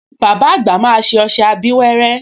Bàbá àgbà máa ṣe ọṣẹ abíwẹ́rẹ́